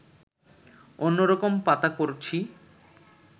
অন্য রকম পাতা করছি